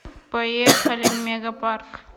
поехали мегапарк